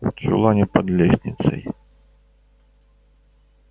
в чулане под лестницей